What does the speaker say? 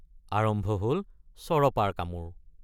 আৰম্ভ হল চৰপাৰ কামোৰ।